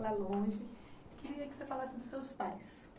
lá longe. Queria que você falasse dos seus pais.